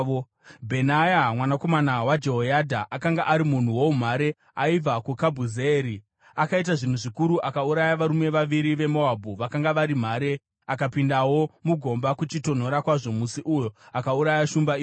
Bhenaya mwanakomana waJehoyadha akanga ari munhu woumhare aibva kuKabhizeeri, akaita zvinhu zvikuru. Akauraya varume vaviri veMoabhu vakanga vari mhare. Akapindawo mugomba kuchitonhora kwazvo musi uyo, akauraya shumba imomo.